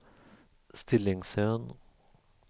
Stillingsön